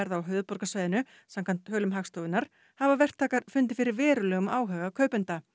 á höfuðborgarsvæðinu samkvæmt tölum Hagstofunnar hafa verktakar fundið fyrir verulegum áhuga kaupenda